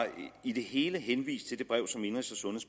i det hele henvist til det brev som indenrigs og